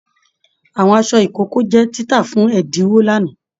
Àwọn aṣọ ìkókó jẹ títà fún ẹdinwo l'ana.